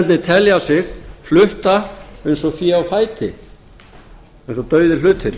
starfsmennirnir telja sig flutta eins og fé á fæti eins og dauðir hlutir